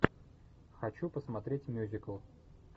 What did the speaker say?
хочу посмотреть мюзикл